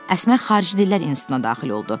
Əsmər xarici dillər institutuna daxil oldu.